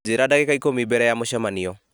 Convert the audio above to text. njĩra ndagĩka ikũmi mbere ya mũcemanio